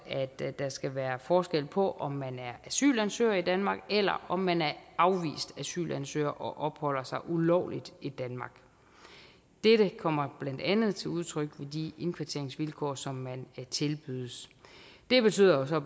at der skal være forskel på om man er asylansøger i danmark eller om man er afvist asylansøger og opholder sig ulovligt i danmark dette kommer blandt andet til udtryk ved de indkvarteringsvilkår som man tilbydes det betyder jo så